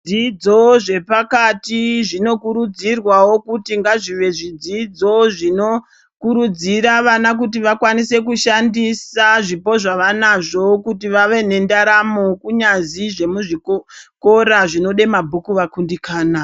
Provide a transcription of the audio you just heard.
Zvidzidzo zvepakati zvinokurudzirwawo ngazvive zvidzidzo zvinokurudzira vana kuti vakwanise kushandisa zvipo zvavanazvo kuti vave nendaramo, kunyazi zvemuzviko kora zvinode mabhuku vakundikana.